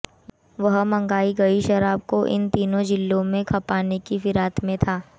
वह मंगाई गई शराब को इन तीनों जिलों में खपाने की फिराक में था